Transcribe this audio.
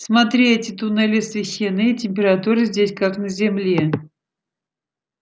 смотри эти туннели освещены и температура здесь как на земле